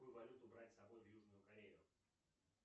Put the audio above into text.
какую валюту брать с собой в южную корею